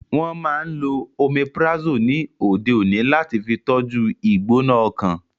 Wọ́n máa n lo Omeprazole ni òde òní láti fi tọ́jú u ìgbóná ọkàn